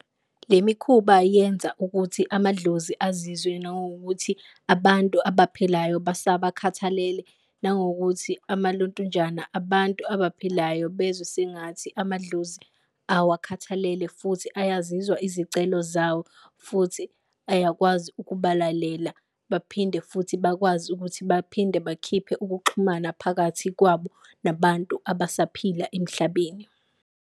Le mikhuba yenza ukuthi amadlozi azizwe nangokuthi abantu abaphilayo basabakhathalele, nangokuthi amalontunjana abantu abaphilayo bezwe sengathi amadlozi awukhathalele, futhi uyazizwa izicelo zawo. Futhi ayakwazi ukubalalela, baphinde futhi bakwazi ukuthi baphinde bakhiphe ukuxhumana phakathi kwabo nabantu abasaphila emhlabeni.